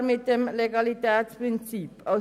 Das ist mit dem Legalitätsprinzip nicht vereinbar.